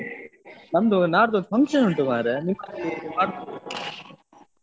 ನಾಡ್ದೊಂದು function ಉಂಟು ಮಾರೆ .